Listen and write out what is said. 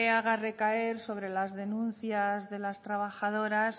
haga recaer sobre las denuncias de las trabajadoras